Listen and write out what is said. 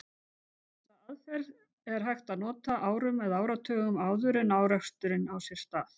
Þessa aðferð er hægt að nota árum eða áratugum áður en áreksturinn á sér stað.